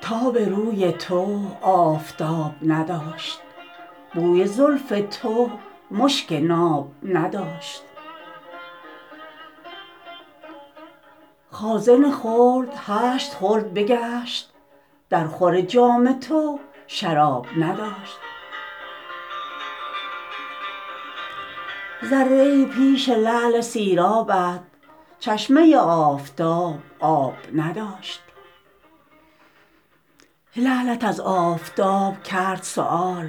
تاب روی تو آفتاب نداشت بوی زلف تو مشک ناب نداشت خازن خلد هشت خلد بگشت در خور جام تو شراب نداشت ذره ای پیش لعل سیرابت چشمه آفتاب آب نداشت لعلت از آفتاب کرد سؤال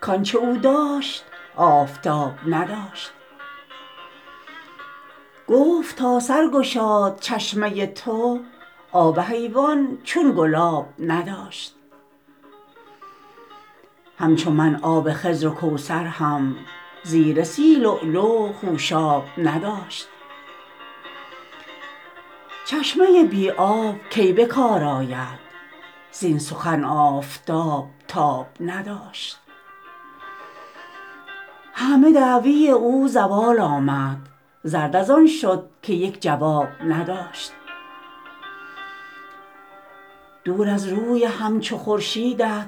کانچه او داشت آفتاب نداشت گفت تا سرگشاد چشمه تو آب حیوان چنین گلاب نداشت همچو من آب خضر و کوثر هم زیر سی لؤلؤ خوشاب نداشت چشمه بی آب کی به کار آید زین سخن آفتاب تاب نداشت همه دعوی او زوال آمد زرد از آن شد که یک جواب نداشت دور از روی همچو خورشیدت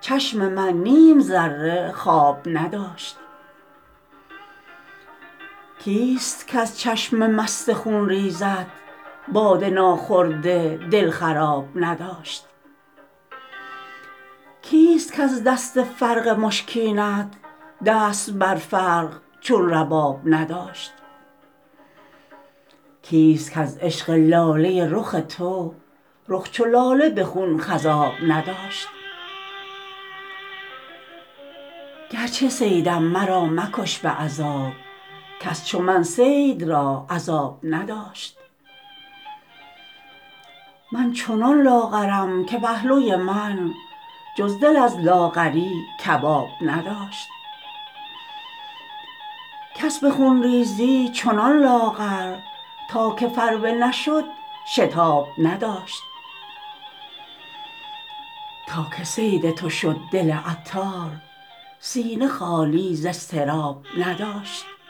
چشم من نیم ذره خواب نداشت کیست کز چشم مست خونریزت باده ناخورده دل خراب نداشت کیست کز دست فرق مشکینت دست بر فرق چون رباب نداشت کیست کز عشق لاله رخ تو رخ چو لاله به خون خضاب نداشت گرچه صیدم مرا مکش به عذاب کس چو من صید را عذاب نداشت من چنان لاغری که پهلوی من جز دل از لاغری کباب نداشت کس به خون ریزی چنان لاغر تا که فربه نشد شتاب نداشت تا که صید تو شد دل عطار سینه خالی ز اضطراب نداشت